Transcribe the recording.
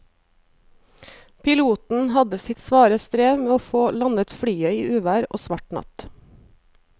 Piloten hadde sitt svare strev med å få landet flyet i uvær og svart natt.